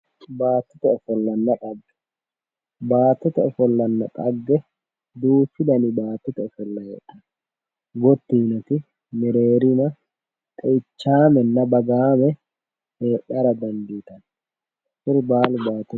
Baattote ofollanna dhagge baattote ofollanna dhagge duuchu dani baattote ofolla heedhanno gotti yitinoti xeichaamenna lagga kuri baalu baattote ofollooti